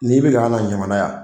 N'i bi na y'an nɔ jamana yan